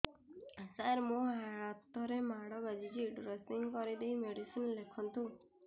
ସାର ମୋ ହାତରେ ମାଡ଼ ବାଜିଛି ଡ୍ରେସିଂ କରିଦେଇ ମେଡିସିନ ଲେଖନ୍ତୁ